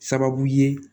Sababu ye